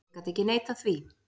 Ég gat ekki neitað því.